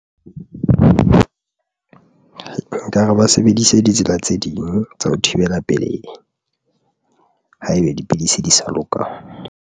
Ba ka ba sebedise ditsela tse ding tsa ho thibela pelei haebe dipidisi di sa loka.